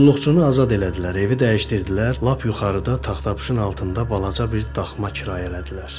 Qulluqçunu azad elədilər, evi dəyişdirdilər, lap yuxarıda taxtapuşun altında balaca bir daxma kirayələdilər.